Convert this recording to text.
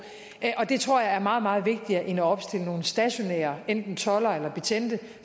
og det tror jeg er meget meget vigtigere end at opstille nogle stationære enten toldere eller betjente